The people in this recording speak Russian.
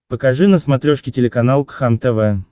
покажи на смотрешке телеканал кхлм тв